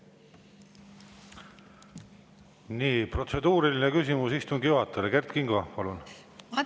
Protseduuriline küsimus istungi juhatajale, Kert Kingo, palun!